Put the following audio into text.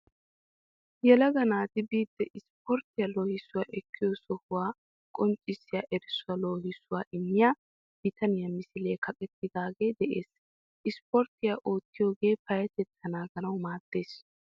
Yelaga naati biidi ispporttiya loohissuwa ekkiyo sohuwa qonccissiya erissoy loohissuwa immiya bitaniya misiliyara kaqettidaagee de'ees. Ispportttiya oottiyogee payyatettaa naaganawu maaddees.